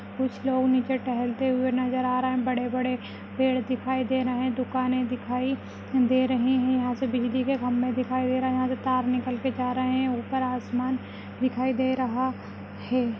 कुछ लोग नीचे टहलते हुए नजर आ रहे बड़े बड़े पेड़ दिखाई दे रहे दुकाने दिखाई दे रहीं है यहाँ से बिजली के खम्भे दिखाई दे रहे है यहाँ के तार नीकल के जा रहे है ऊपर आसमान दिखाई दे रहा है।